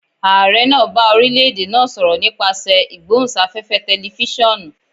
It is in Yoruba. Aare naa ba orilẹ-ede naa sọrọ nipasẹ igbohunsafefe tẹlifisiọnu.